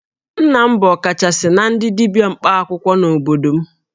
Nna m bụ ọkachasị na ndị dibia mkpaakwụkwọ n'obodo m